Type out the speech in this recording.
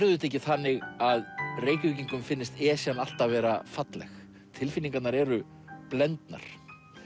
auðvitað ekki þannig að Reykvíkingum finnist Esjan alltaf vera falleg tilfinningarnar eru blendnar